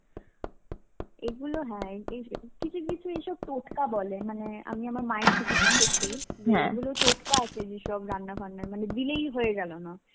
এগুলো হ্যাঁ, কি~ কিছু কিছু এইসব টোটকা বলে. মানে আমি আমার মায়ের থেকে শিখেছি. এগুলো টোটকা আছে যেসব রান্নার ফান্নার মানে দিলেই হয়ে গেলো না.